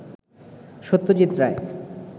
Satyajit Ray